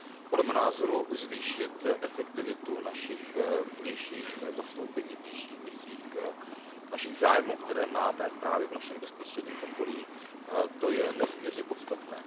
Podle mého názoru zvýšit efektivitu našich vnějších zastoupení, vnějších misí, našich zájmů, které máme právě v našem bezprostředním okolí, to je nesmírně podstatné.